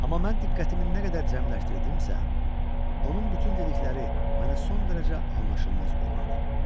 Amma mən diqqətimi nə qədər cəmləşdirdimsə, onun bütün dedikləri mənə son dərəcə anlaşılmaz göründü.